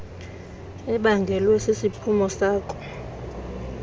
ebangelwe sisiphumo sako